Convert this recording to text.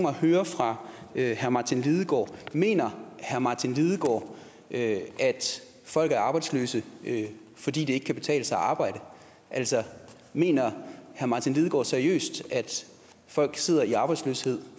at høre fra herre martin lidegaard mener herre martin lidegaard at folk er arbejdsløse fordi det ikke kan betale sig at arbejde altså mener herre martin lidegaard seriøst at folk sidder i arbejdsløshed